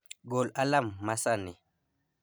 gol alarm ma sani